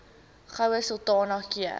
goue sultana keur